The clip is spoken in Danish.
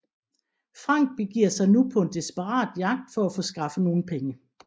Frank begiver sig nu på en desperat jagt for at få skaffet nogle penge